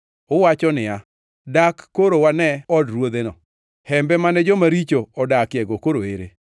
Uwacho niya, ‘Dak koro wane od ruodheno, hembe mane joma richo odakiego koro ere?’